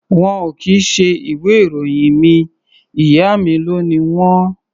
Wọn ò kì í ṣe ìwé-ìròyìn mi. Ìyá mi ló ni wọ́n.